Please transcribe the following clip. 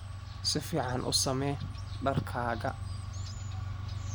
Si fiican u samee dharkaaga.